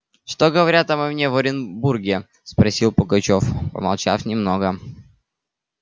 что говорят обо мне в оренбурге спросил пугачёв помолчав немного